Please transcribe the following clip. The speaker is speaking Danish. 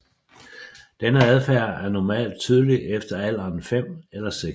Denne adfærd er normalt tydelig efter alderen 5 eller 6